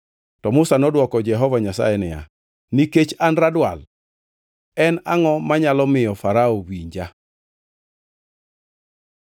To Musa nodwoko Jehova Nyasaye niya, “Nikech an radwal, en angʼo manyalo miyo Farao winja?”